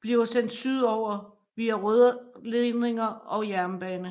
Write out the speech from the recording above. bliver sendt sydover via rørledninger og jernbane